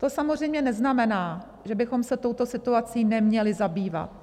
To samozřejmě neznamená, že bychom se touto situací neměli zabývat.